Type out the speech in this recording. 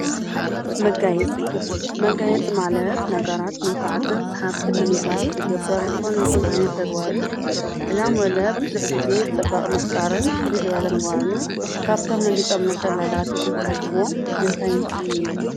መጋየፂ፦ መጋየፂ ማለት ነገራት ምልኩዓትን ሰሓብትን ንምግባር ዝግበር ዝኾነይኹን ተግባር እዩ። ዕላማና ድማ ብዙሕ ጊዜ ፅባቐ ምፍጣርን ፍልይ ዝበለ ምግባርን እዩ። ካብቶም መጋየፂ ኢልኩም ትሓስብዎ እንታይን እንታይን እዮም?